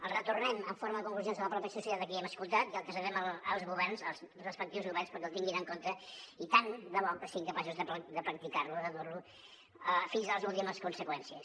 el retornem en forma de conclusions a la mateixa societat a qui hem escoltat i el traslladem als governs als respectius governs perquè el tinguin en compte i tant de bo que siguin capaços de practicar lo de dur lo fins a les últimes conseqüències